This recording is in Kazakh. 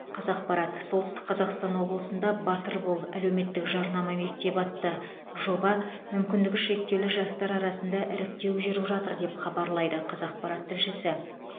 қазақпарат солтүстік қазақстан облысында батыр бол әлеуметтік жарнама мектебі атты жобаға мүмкіндігі шектеулі жастар арасында іріктеу жүріп жатыр деп хабарлайды қазақпарат тілшісі